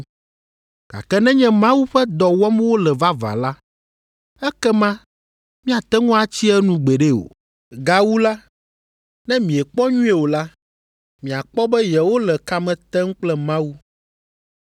Gake nenye Mawu ƒe dɔ wɔm wole vavã la, ekema miate ŋu atsi enu gbeɖe o. Gawu la, ne miekpɔ nyuie o la, miakpɔ be yewole kame tem kple Mawu.”